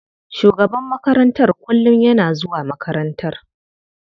Shugaban makarantar kullum yana zuwa makarantar.